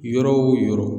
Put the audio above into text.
Yɔrɔ o yɔrɔ